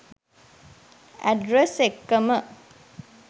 address එක්කම